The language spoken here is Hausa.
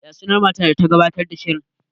Ya sunan matar da ta gabatar da shirin?